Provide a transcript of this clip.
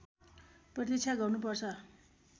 प्रतीक्षा गर्नु पर्छ